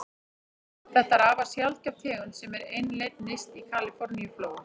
Þetta er afar sjaldgæf tegund sem er einlend nyrst í Kaliforníuflóa.